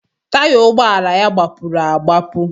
Taya ụgbọala ya gbapuru agbapụ